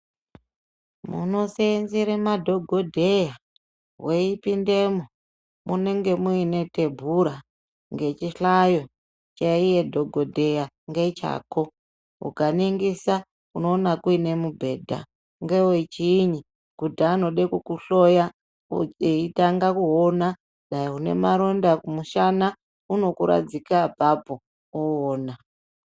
Munoseenzere madhogodheya, weipindemwo, munenge mune tebhura ngechihlayo chaiye dhogodheya ngechako. Ukaningisa unoona kune mubhedha, ngewechii? Kuti anode kukuhloya eitanga kuona, dai une maronda kumushana unokuradzika apapo oona.